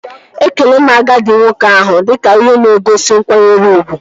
Ekele m agadi nwoke ahụ dike ihe na-egosi nkwanyere ugwu